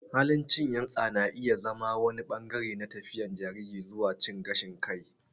Halin cin yatsa na iya zama wani ɓangare na tafiyar jariri zuwa cin gashin kai.